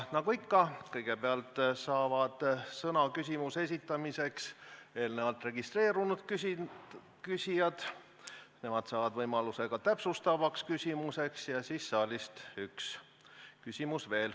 Nagu ikka, kõigepealt saavad sõna küsimuse esitamiseks eelnevalt registreerunud küsijad, nemad saavad võimaluse ka täpsustavaks küsimuseks ja siis on saalist üks küsimus veel.